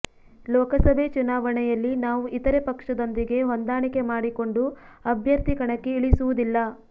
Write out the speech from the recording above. ಲೋಕಸಭೆ ಚುನಾವಣೆಯಲ್ಲಿ ನಾವು ಇತರೆ ಪಕ್ಷದೊಂದಿಗೆ ಹೊಂದಾಣಿಕೆ ಮಾಡಿಕೊಂಡು ಅಭ್ಯರ್ಥಿ ಕಣಕ್ಕೆ ಇಳಿಸುವುದಿಲ್ಲ